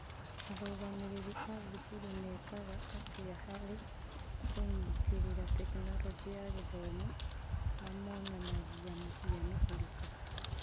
Arũgamĩrĩri a thukuru mekaga atĩa harĩ kũnyitĩrĩra Tekinoronjĩ ya Githomo, na monanagia mũhiano ũrĩkũ?